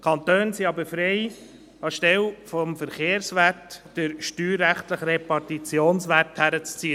Die Kantone sind aber frei, anstelle des Verkehrswerts, den steuerrechtlichen Repartitionswert heranzuziehen.